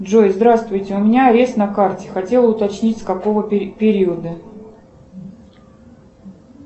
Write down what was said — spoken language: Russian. джой здравствуйте у меня есть на карте хотела уточнить с какого периода